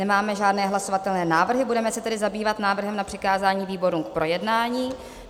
Nemáme žádné hlasovatelné návrhy, budeme se tedy zabývat návrhem na přikázání výborům k projednání.